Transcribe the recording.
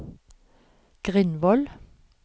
Grindvoll